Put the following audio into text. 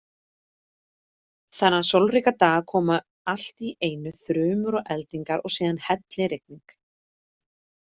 Þennan sólríka dag komu allt í einu þrumur og eldingar og síðan hellirigning.